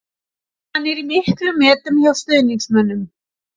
Hann er í miklum metum hjá stuðningsmönnum.